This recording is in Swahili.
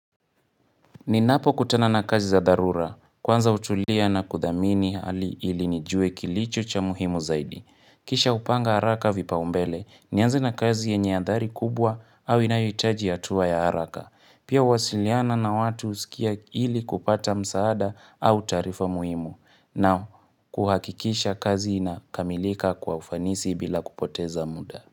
Ninapokutana na kazi za dharura Kwanza utulia na kudhamini hali ili nijue kilicho cha muhimu zaidi. Kisha hupanga haraka vipaumbele, nianze na kazi yenye adhari kubwa au inayohitaji hatua ya haraka. Pia uwasiliana na watu usikia ili kupata msaada au taarifa muhimu. Na kuhakikisha kazi inakamilika kwa ufanisi bila kupoteza muda.